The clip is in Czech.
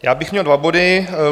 Já bych měl dva body.